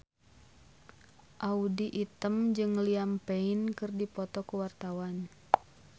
Audy Item jeung Liam Payne keur dipoto ku wartawan